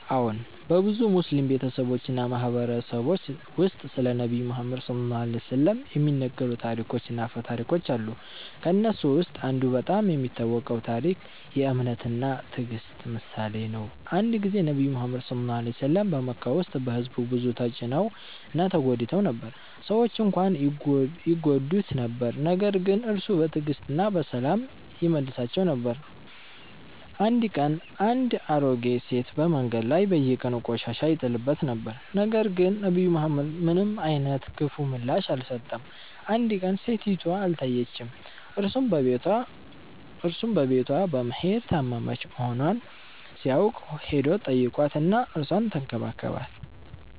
አዎን፣ በብዙ ሙስሊም ቤተሰቦች እና ማህበረሰቦች ውስጥ ስለ ነብዩ መሐመድ (ሰ.ዐ.ወ) የሚነገሩ ታሪኮች እና አፈ ታሪኮች አሉ። ከእነሱ ውስጥ አንዱ በጣም የሚታወቀው ታሪክ የ“እምነት እና ትዕግስት” ምሳሌ ነው። አንድ ጊዜ ነብዩ መሐመድ (ሰ.ዐ.ወ) በመካ ውስጥ በሕዝቡ ብዙ ተጭነው እና ተጎድተው ነበር። ሰዎች እንኳን ይጎዱት ነበር ነገር ግን እርሱ በትዕግስት እና በሰላም ይመልሳቸው ነበር። አንድ ቀን አንድ አሮጌ ሴት በመንገድ ላይ በየቀኑ ቆሻሻ ይጥልበት ነበር፣ ነገር ግን ነብዩ መሐመድ ምንም አይነት ክፉ ምላሽ አልሰጠም። አንድ ቀን ሴቲቱ አልታየችም፣ እርሱም በቤቷ በመሄድ ታመመች መሆኗን ሲያውቅ ሄዶ ተጠይቋት እና እርሷን ተንከባከባት።